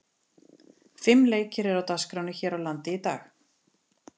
Fimm leikir eru á dagskránni hér á landi í dag.